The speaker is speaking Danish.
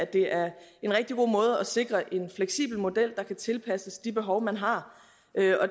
det er en rigtig god måde at sikre en fleksibel model på der kan tilpasses de behov man har